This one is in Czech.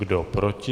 Kdo proti?